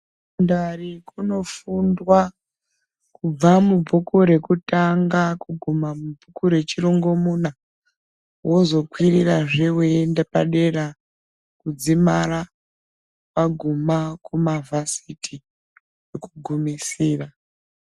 Kondari kunofundwa kubva mubhuku rekutanga kuguma kubhuku rechirongomuna wozokwirirazve weiienda padera kudzimara waguma kumavhasiti kwekugumisira.